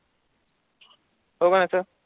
होसा होता.